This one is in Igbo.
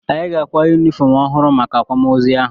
Anyị ga-akwa yunifọm ọhụrụ maka akwamoozu ahụ.